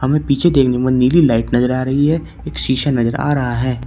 हमें पीछे देखने पर नीली लाइट नजर आ रही है एक शीशा नजर आ रहा है।